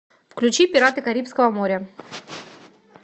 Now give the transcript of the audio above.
включи пираты карибского моря